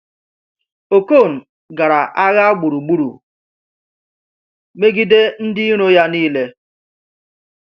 Okon gara agha gburugburu megide ndị iro ya niile.